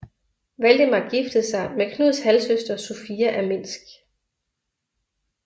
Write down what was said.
Valdemar giftede sig med Knuds halvsøster Sofia af Minsk